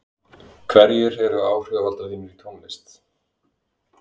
hverjir eru áhrifavaldar þínir í tónlist?